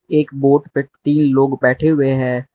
एक बोट पे तीन लोग बैठे हुए हैं।